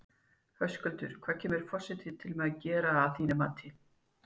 Höskuldur, hvað kemur forsetinn til með að gera að þínu mati?